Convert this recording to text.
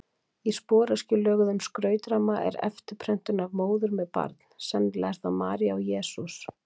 Í sporöskjulöguðum skrautramma er eftirprentun af móður með barn, sennilega eru það María og Jesús.